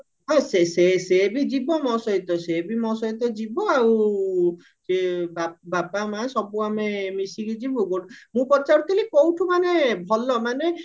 ହଁ ସେ ସେବି ଯିବା ମୋ ସହିତ ସେ ବି ମୋ ସହିତ ଯିବ ଆଉ ସିଏ ବାପା ମା ସବୁ ଆମେ ମିଶିକି ଯିବୁ ମୁଁ ପଚାରୁଥିଲି କଉଠୁ ମାନେ ଭଲ ମାନେ